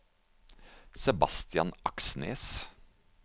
Sebastian Aksnes